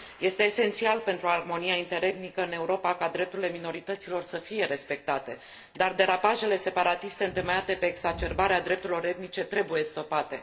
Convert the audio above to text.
Este esențial pentru armonia interetnică în Europa ca drepturile omului să fie respectate, dar derapajele separatiste întemeiate pe exacerbarea drepturilor etnice trebuie stopate.